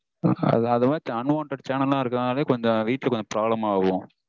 அது மாதிரி unwanted channel லாம் இருக்கறதனாலயே கொஞ்சம் வீட்ல கொஞ்சம் problem ஆகும்